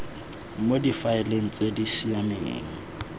mo difaeleng tse di siameng